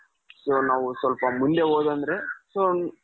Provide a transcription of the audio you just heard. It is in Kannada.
so ನಾವು ಸ್ವಲ್ಪ ಮುಂದೆ ಹೋದ ಅಂದ್ರೆ so,